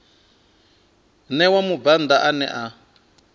ṋewa mubvann ḓa ane a